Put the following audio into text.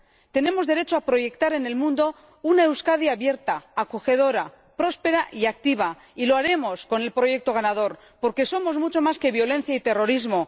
Tenemos derecho a proyectar en el mundo una Euskadi abierta, acogedora, próspera y activa, y lo haremos con el proyecto ganador, porque somos mucho más que violencia y terrorismo.